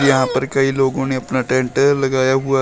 यहां पर कई लोगों ने अपना टेंट लगाया हुआ है।